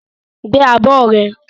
Gbé abọ́ rẹ!